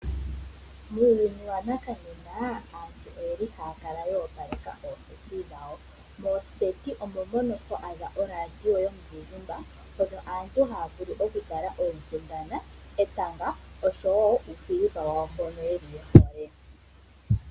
Muuyuni wa nakanena aantu oye li haya kala ya opaleka ooseti dhawo. Moseti omo mono to adha oradio yomuzizimba, hono aantu haya vulu okutala etanga, oshowo uufilima wawo mboka ye hole.